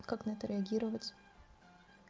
а как на это реагировать